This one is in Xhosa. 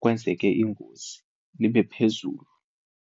kwenzeke ingozi libe phezulu.